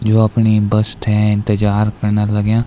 यु अपणी बस थे इन्तजार कर्ना लग्याँ।